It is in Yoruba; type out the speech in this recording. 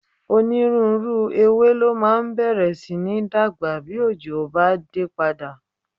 Onírúurú ewé ló máa bẹ̀rẹ̀ sí ní dàgbà bí òjò bá dé padà